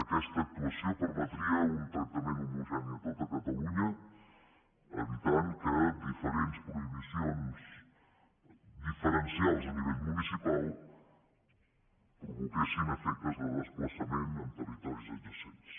aquesta actuació permetria un tractament homogeni a tot catalunya evitant que diferents prohibicions diferencials a nivell municipal provoquessin efectes de desplaçament a territoris adjacents